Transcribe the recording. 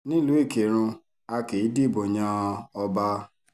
nílùú ìkírùn a kì í dìbò yan ọba